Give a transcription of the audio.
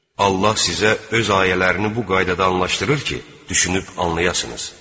Allah sizə öz ayələrini bu qaydada anlaşdırır ki, düşünüb anlayasınız.